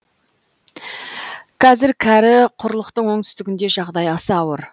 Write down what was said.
қазір кәрі құрлықтың оңтүстігінде жағдай аса ауыр